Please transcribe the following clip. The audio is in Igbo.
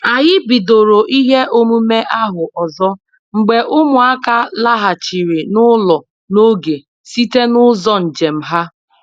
Anyị bidoro ihe omume ahụ ọzọ mgbe ụmụaka laghachiri n'ụlọ n'oge site n'ụzọ njem ha